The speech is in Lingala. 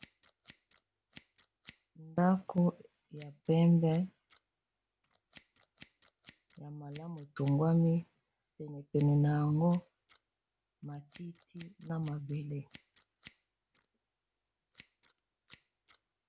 Awa namoni balakisi biso ndako ya pembe ya malamu etongwami kitoko penepene na yango namini ba matiti na mabele.